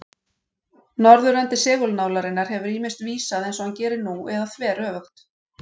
Norðurendi segulnálarinnar hefur ýmist vísað eins og hann gerir nú eða þveröfugt.